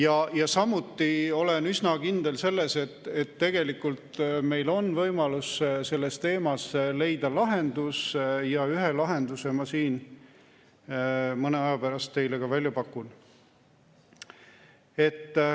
Aga ma olen üsna kindel, et tegelikult meil on võimalus selles teemas leida lahendus, ja ühe lahenduse ma siin mõne aja pärast teile ka välja pakun.